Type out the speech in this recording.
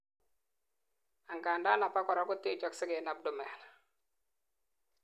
angandan abakora kotechoksei en abdomen